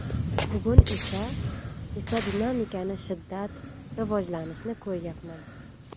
Bugun esa esa dinamikani shiddat, rivojlanishni ko‘ryapman.